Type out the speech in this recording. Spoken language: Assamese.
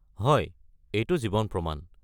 হয়, এইটো জীৱন প্ৰমাণ।